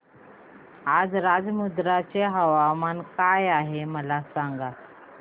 आज राजमुंद्री चे तापमान काय आहे मला सांगा